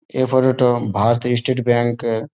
এ photo -টো ভারতীয় state bank এর।